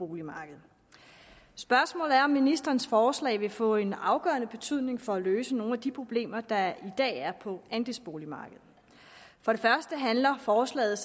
boligmarkedet spørgsmålet er om ministerens forslag vil få en afgørende betydning for at løse nogle af de problemer der i dag er på andelsboligmarkedet for det første handler forslaget